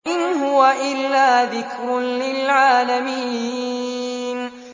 إِنْ هُوَ إِلَّا ذِكْرٌ لِّلْعَالَمِينَ